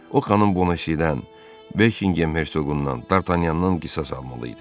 O xanım Boneydən, Bekingem hersoqundan, Dartanyandan qisas almalı idi.